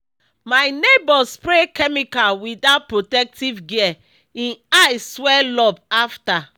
my neighbour spray chemical without protective gear—e eye swell up after.